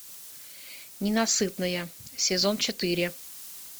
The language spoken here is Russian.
ненасытная сезон четыре